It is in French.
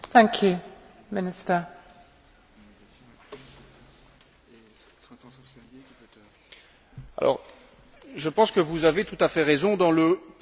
Je pense que vous avez tout à fait raison dans le constat que vous posez sur l'aspect qualitatif médical lié aux différents États membres.